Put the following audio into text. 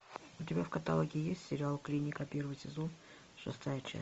у тебя в каталоге есть сериал клиника первый сезон шестая часть